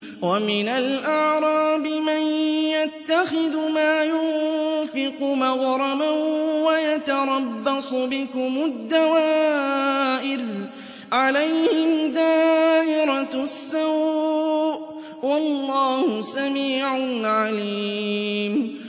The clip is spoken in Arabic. وَمِنَ الْأَعْرَابِ مَن يَتَّخِذُ مَا يُنفِقُ مَغْرَمًا وَيَتَرَبَّصُ بِكُمُ الدَّوَائِرَ ۚ عَلَيْهِمْ دَائِرَةُ السَّوْءِ ۗ وَاللَّهُ سَمِيعٌ عَلِيمٌ